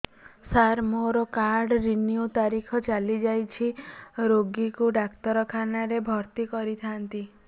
ସାର ମୋର card renew ତାରିଖ ଚାଲି ଯାଇଛି ରୋଗୀକୁ ଡାକ୍ତରଖାନା ରେ ଭର୍ତି କରିଥାନ୍ତି